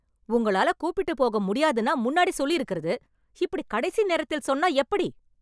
உங்களால கூப்பிட்டு போக முடியாதுன்னா முன்னாடி சொல்லி இருக்கிறது. இப்படி கடைசி நேரத்தில் சொன்னா எப்படி?